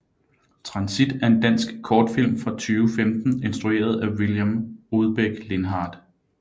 Transit er en dansk kortfilm fra 2015 instrueret af William Rudbeck Lindhardt